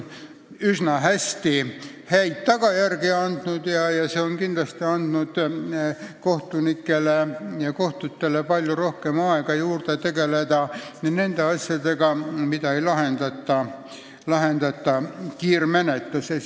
See on üsna häid tulemusi toonud ning kindlasti andnud kohtunikele ja kohtutele palju aega juurde tegeleda nende asjadega, mida ei lahendata kiirmenetluses.